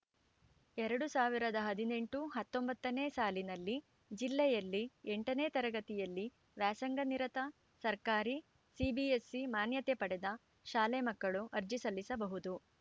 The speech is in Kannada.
ಎರಡ್ ಸಾವಿರದ ಹದಿನೆಂಟು ಹತ್ತೊಂಬತ್ತನೇ ಸಾಲಿನಲ್ಲಿ ಜಿಲ್ಲೆಯಲ್ಲಿ ಎಂಟನೇ ತರಗತಿಯಲ್ಲಿ ವ್ಯಾಸಂಗ ನಿರತ ಸರ್ಕಾರಿ ಸಿಬಿಎಸ್‌ಸಿ ಮಾನ್ಯತೆ ಪಡೆದ ಶಾಲೆ ಮಕ್ಕಳು ಅರ್ಜಿ ಸಲ್ಲಿಸಬಹುದು